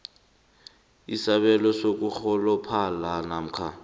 isabelo sokurholophala namkha